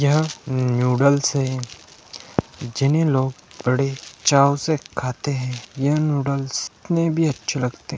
यह नूडल्स है जिन्हें लोग बड़े चाव से खाते हैं यह नूडल्स इतने भी अच्छे लगते हैं।